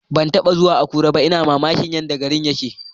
Ban taba zuwa Akure ba, ina mamakin yadda garin yake.